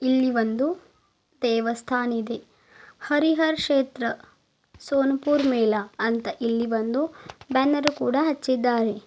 ಇಲ್ಲಿ ಒಂದು ದೇವಸ್ಥಾನ್ ಇದೆ ಹರಿಹರ್ ಕ್ಷೇತ್ರ ಸೋನ್ ಪುರ್ ಮೇಳ ಅಂತ ಇಲ್ಲಿ ಒಂದು ಬ್ಯಾನರ್ ಕೂಡ ಹಚ್ಚಿದ್ದಾರೆ.